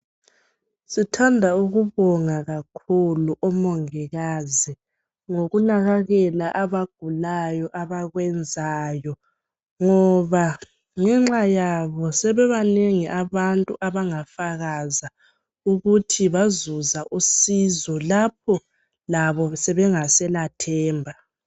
Sithanda ukubonga kakhulu omongikazi ngokunakekela abagulayo abawenanzayo ngoba ngenxa yabo sebanengi abantu abangafakaza ukuthi bazuza usizo lapho labo bengaselathemba.